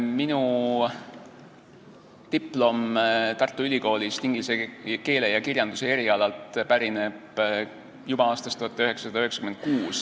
Minu diplom Tartu Ülikoolist inglise keele ja kirjanduse erialalt pärineb juba aastast 1996.